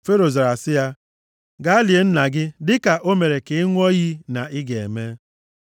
Fero zara sị ya, “Gaa lie nna gị dịka o mere ka ị ṅụọ iyi na ị ga-eme.”